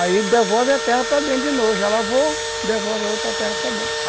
Aí devolve a terra para dentro de novo, já lavou, devolve a outra terra para dentro.